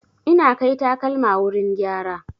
Ina kai takalma wurin gyara.